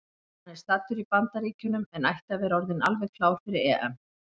Hann er staddur í Bandaríkjunum en ætti að vera orðinn alveg klár fyrir EM.